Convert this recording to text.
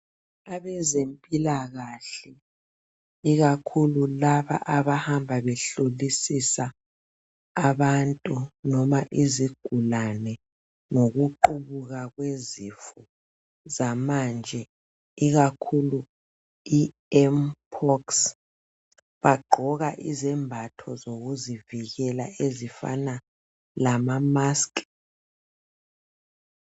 Abezempilakahle ikakhulu laba abahamba behlolisisa abantu noma izigulane ngokuqubuka kwezifo zamanje ikakhulu I"MPOX " bagqoka izembatho zokuzivikela ezifana lama "musk".